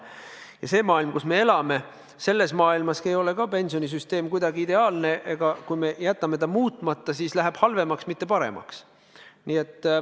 Ja selles maailmas, kus me elame, ei ole ka pensionisüsteem ideaalne ja kui me jätame ta muutmata, siis olukord läheb halvemaks, mitte paremaks.